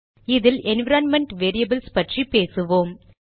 இதில் environment variables பற்றி பேசுவோம்